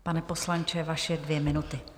Pane poslanče, vaše dvě minuty.